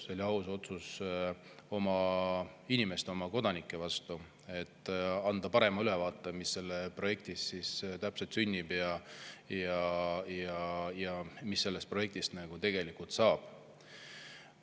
See oli aus oma inimeste, oma kodanike vastu, et anda parem ülevaade, mis selle projektiga täpselt sünnib ja mis sellest projektist saab.